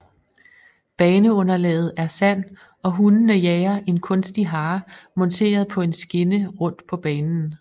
Baneunderlaget er sand og hundene jager en kunstig hare monteret på en skinne rund på banen